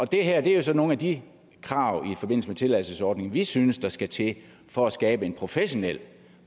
det her er jo så nogle af de krav i forbindelse med tilladelsesordningen vi synes der skal til for at skabe en professionel